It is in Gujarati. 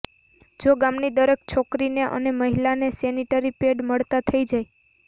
જો ગામની દરેક છોકરીને અને મહિલાને સેનિટરી પેડ મળતા થઈ જાય